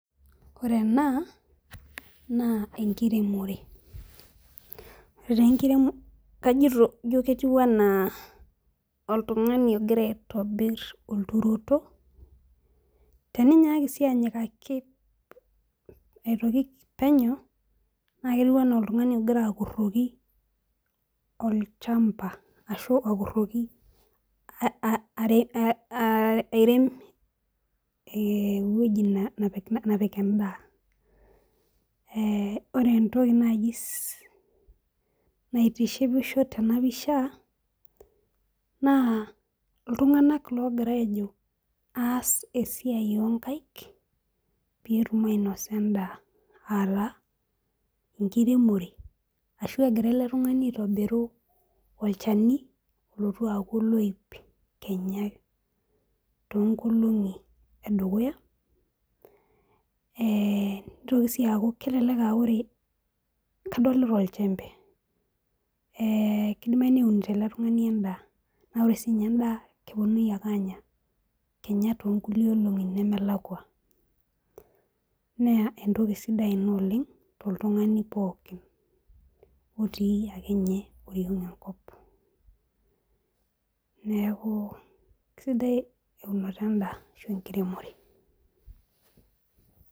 Oree enaa naa enkiremoree igiraa akurokii olchamba ashuu aairep eweujii neepik endaa oree entokii naitiship tenaa pishaa naa ilntunganak ogiraa aas esiai oo nkaik peyiee etum aainosa endaa enkiremoree ashuu egirra olntungani aitobirriuu olchanii olotuu aakuu oloip